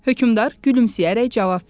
Hökmdar gülümsəyərək cavab verdi.